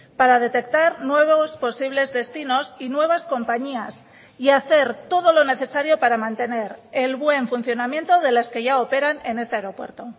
para detectar nuevos posibles destinos y nuevas compañías y hacer todo lo necesario para mantener el buen funcionamiento de las que ya operan en este aeropuerto